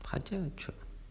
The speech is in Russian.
хотя вот что там